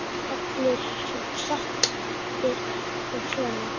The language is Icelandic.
Allir svo saddir og svona.